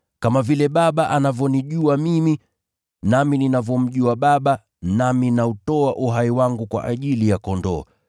Kama vile Baba anavyonijua mimi, nami ninavyomjua Baba, nami nautoa uhai wangu kwa ajili ya kondoo.